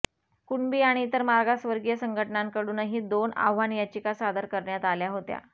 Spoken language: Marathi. कुणबी आणि इतर मागासवर्गीय संघटनांकडूनही दोन आव्हान याचिका सादर करण्यात आल्या होत्या